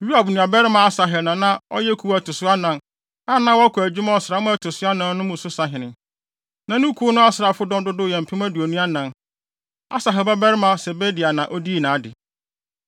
Yoab nuabarima Asahel na na ɔyɛ kuw a ɛto so anan, a na wɔkɔ adwuma ɔsram a ɛto so anan mu no so sahene. Na ne kuw no asraafodɔm dodow yɛ mpem aduonu anan (24,000). Asahel babarima Sebadia na odii nʼade.